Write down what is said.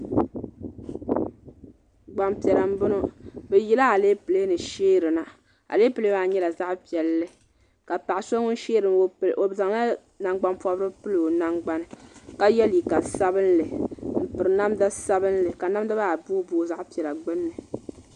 Gbaŋ piɛlla n bɔŋɔ bi yila aleple ni shɛɛri na aleple maa yɛla zaɣi piɛlli ka paɣa so ŋun shɛɛri ŋɔ o zaŋla nangbani pɔbirigu n pili o nangbani ka yiɛ liiga sabinli n piri namda sabinli ka namda maa boi boi zaɣi piɛlla gbunni.